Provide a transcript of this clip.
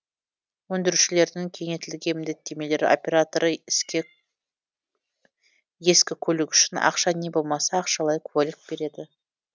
өндірушілердің кеңейтілген міндеттемелері операторы ескі көлік үшін ақша не болмаса ақшалай куәлік береді